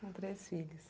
Com três filhos.